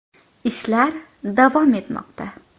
Ishlar davom etmoqda.